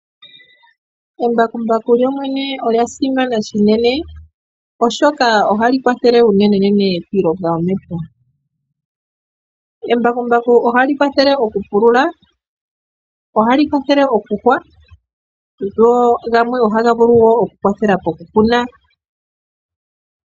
Embakumbaku lyo lyene olya simana shinene, oshoka ohali kwathele unenenene piilonga yomepya. Embakumbaku ohali kwathele oku pulula, ohali kwathele okuhwa, go gamwe ohaga vulu oku kwathela poku kuna.